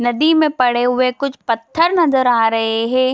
नदी में पड़े हुए कुछ पत्थर नजर आ रहे है।